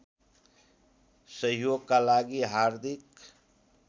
सहयोगका लागि हार्दिक